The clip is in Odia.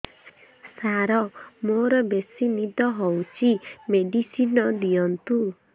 ସାର ମୋରୋ ବେସି ନିଦ ହଉଚି ମେଡିସିନ ଦିଅନ୍ତୁ